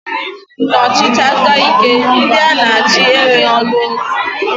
N'ọchịchị aka ike, ndị a na achị enweghị ọnụ okwu